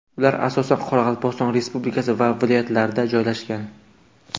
Ular asosan Qoraqalpog‘iston Respublikasi va viloyatlarda joylashgan.